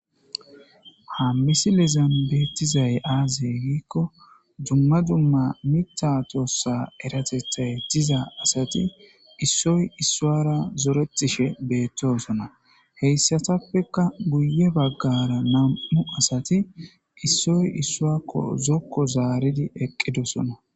hammisi lizan beettizay aazey giikko dumma dumma mita tossa eratethay diza asati issoy issuara zoretishe beettosona heyssatappeka guye baggara nam7u asati issoy issuakko zokko zaaridi eqqidosona